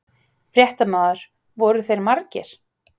Fréttamaður: Voru þeir margir?